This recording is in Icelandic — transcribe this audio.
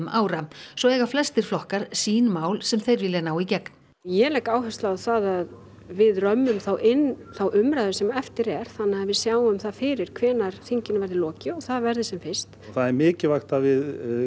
ára svo eiga flestir flokkar sín mál sem þeir vilja ná í gegn ég legg áherslu á það að við römmum þá inn þá umræðu sem eftir er þannig að við sjáum það fyrir hvenær þinginu verði lokið og það verði sem fyrst það er mikilvægt að við